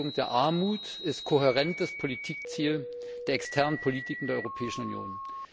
Die Beseitigung der Armut ist kohärentes Ziel der externen Politiken der Europäischen Union.